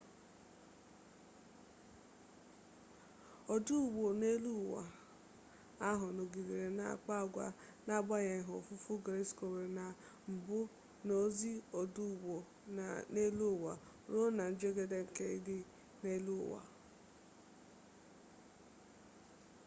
ọdụ ụgbọ nọ n'eluụwa ahụ nọgidere na-akpa agwa n'agbanyeghị ofufu gyroscope na mbụ na ozi ọdụ ụgbọ nọ n'eluụwa ruo na njedebe nke ịga ije n'elu ụwa